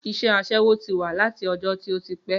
Iṣẹ́ asẹ́wó ti wà láti ọjọ́ tí ó ti pé